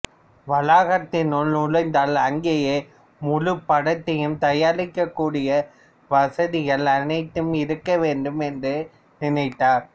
வளாகத்தினுள் நுழைந்தால் அங்கேயே முழுப்படத்தையும் தயாரிக்கக்கூடிய வசதிகள் அனைத்தும் இருக்கவேண்டும் என்று நினைத்தார்